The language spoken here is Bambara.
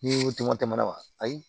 Ni tɛmɛ tɛmɛna ayi